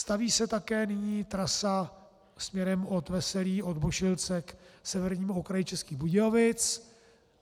Staví se také nyní trasa směrem od Veselí, od Bošilce k severnímu okraji Českých Budějovic.